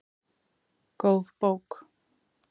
Góð bók